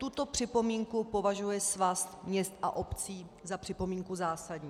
Tuto připomínku považuje Svaz měst a obcí za připomínku zásadní.